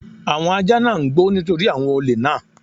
Àwọn ajá náà ń gbó nítorí àwọn olè náà.